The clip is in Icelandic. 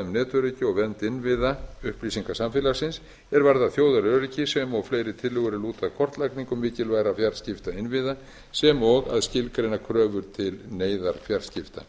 um netöryggi og vernd innviða upplýsingasamfélagsins er varðar þjóðaröryggi sem og fleiri tillögur er lúta að kortlagningu mikilvægra fjarskiptainnviða sem og að skilgreina kröfur til neyðarfjarskipta